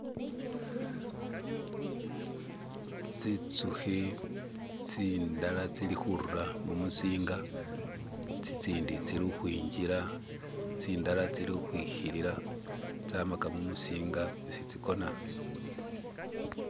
Tsitsuki tsidhala tsiri khurura mumutsinga tsitsindi tsiri ukwinjira tsindara tsiri ukwikhilila tsamaga mumutsinga etsi tsikhona